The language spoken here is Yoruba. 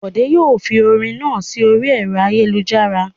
Bòdé yóò fi orin náà sí orí ẹ̀rọ ayélujára.